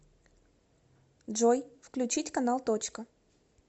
джой включить канал точка